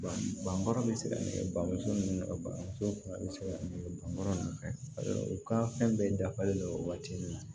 Bɔn baara bɛ se ka nɛgɛ bamuso ni nɛgɛso ba muso fan bɛ se ka nɛgɛ bɔnfɛ u ka fɛn bɛɛ dafalen don waati min na